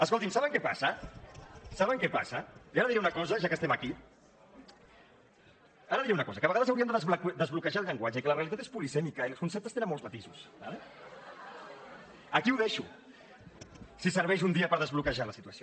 escoltin saben què passa saben què passa i ara diré una cosa ja que estem aquí ara diré una cosa que a vegades hauríem de desbloquejar el llenguatge i que la realitat és polisèmica els conceptes tenen molts matisos d’acord aquí ho deixo si serveix un dia per desbloquejar la situació